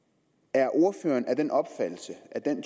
er ordføreren af den opfattelse at den